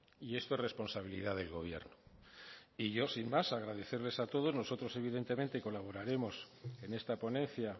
y esto es responsabilidad del gobierno y yo sin más agradecerles a todos nosotros evidentemente colaboraremos en esta ponencia